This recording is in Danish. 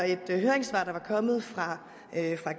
et høringssvar der var kommet fra